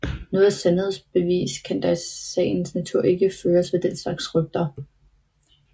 Noget sandhedsbevis kan der i sagens natur ikke føres for den slags rygter